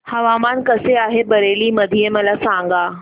हवामान कसे आहे बरेली मध्ये मला सांगा